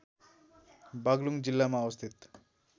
बागलुङ जिल्लामा अवस्थित